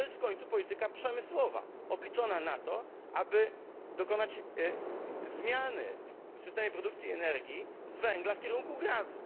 To jest w końcu polityka przemysłowa obliczona na to, żeby dokonać zmiany w systemie produkcji energii z węgla w kierunku gazu.